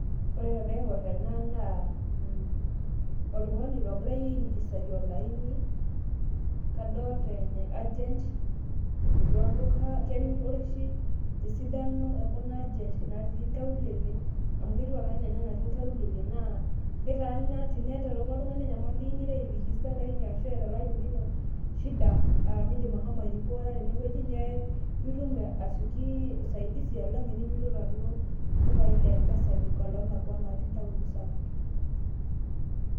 Ore taa paingur enaa naa oltungani ogirai ai registae olaini kadolta e agent etii olduka kemir ore oshi esidano ekulo agent naatii nkaulele amu ketiu ake ena enaa anatii nkaulele naa ketaana teneterewaka oltungani enyamali ingira ai register olaini arashu eeta olaini lino shida aa nindim ashomo airipota tenewueji piitum asioki usaidizi alang teninyototo alo ldukai le mpesa ]cs] lolo olakwa otii ntauni sapukin.